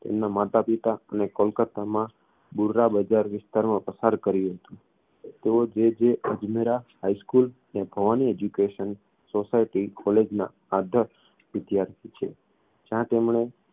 તેમના માતાપિતા અને કોલકત્તામાં બૂર્રાબજાર વિસ્તારમાં પસાર કર્યું હતું તેઓ જે જે અજમેરા high school અને ભવાની education society college ના આદર્શ વિદ્યાર્થી છે જ્યાં તેમણે